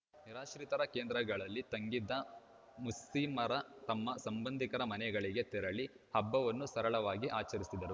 ನಿರಾಶ್ರಿತರ ಕೇಂದ್ರಗಳಲ್ಲಿ ತಂಗಿದ್ದ ಮುಸ್ಮಿಮರು ತಮ್ಮ ಸಂಬಂಧಿಕರ ಮನೆಗಳಿಗೆ ತೆರಳಿ ಹಬ್ಬವನ್ನು ಸರಳವಾಗಿ ಆಚರಿಸಿದರು